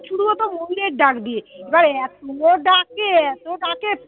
ময়ূরের ডাক দিয়ে এবার এত ডাকে এত ডাকে